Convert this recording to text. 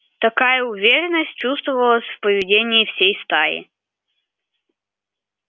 такая уверенность чувствовалась в поведении всей стаи